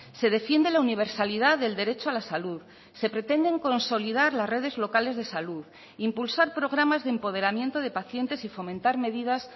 se defiende la universalidad del derecho a la salud se pretenden consolidar las redes locales de salud impulsar programas de empoderamiento de pacientes y fomentar medidas